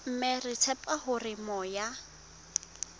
mme re tshepa hore moya